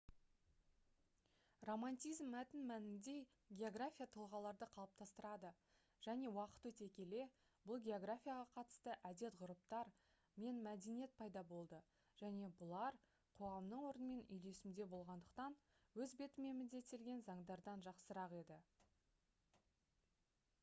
романтизм мәтінмәнінде география тұлғаларды қалыптастырды және уақыт өте келе бұл географияға қатысты әдет-ғұрыптар мен мәдениет пайда болды және бұлар қоғамның орнымен үйлесімде болғандықтан өз бетімен міндеттелген заңдардан жақсырақ еді